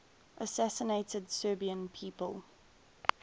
assassinated serbian people